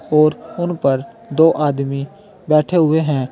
और उन पर दो आदमी बैठे हुए हैं।